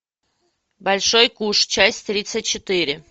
большой куш часть тридцать четыре